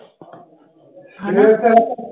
ਹਨਾ